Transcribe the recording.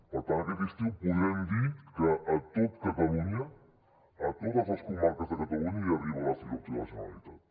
per tant aquest estiu podrem dir que a tot catalunya a totes les comarques de catalunya hi arriba la fibra òptica de la generalitat